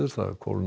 kólna